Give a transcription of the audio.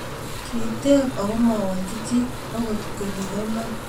kiteeb ako mawolchi chi akot ko kibo iman